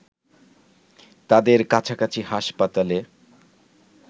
তাদের কাছাকাছি হাসপাতালে